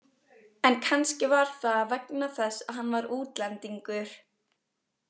En kannski var það vegna þess að hann var útlendingur.